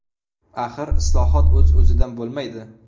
Axir islohot o‘z-o‘zidan bo‘lmaydi.